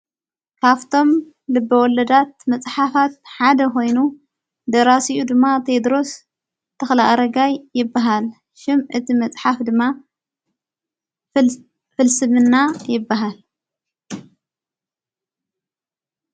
ካፍቶም ልብወለዳት መጽሓፋት ሓደ ኾይኑ ደራሲኡ ድማ ቴድሮስ ተኽልኣረጋይ ይበሃል ሽም እቲ መጽሓፍ ድማ ፍልስምና ይበሃል።